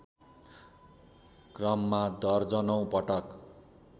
क्रममा दर्जनौँ पटक